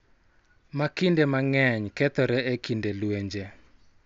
Ma kinde mang�eny kethore e kinde lwenje.